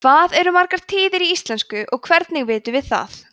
hvað eru margar tíðir í íslensku og hvernig vitum við það